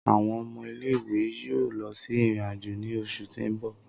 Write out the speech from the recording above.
Awọn ọmọ ile-iwe yoo lọ si irin-ajo ni oṣu ti n bọ.